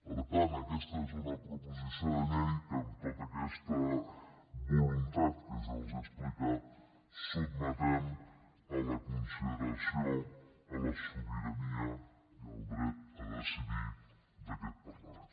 per tant aquesta és una proposició de llei que amb tota aquesta voluntat que jo els he explicat sotmetem a la consideració a la sobirania i al dret a decidir d’aquest parlament